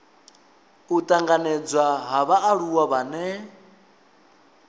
u tanganedzwa ha vhaaluwa vhane